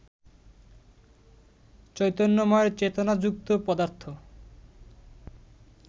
চৈতন্যময়ের চেতনাযুক্ত পদার্থ